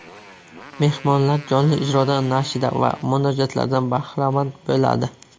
Mehmonlar jonli ijroda nashida va munojotlardan bahramand bo‘ladi.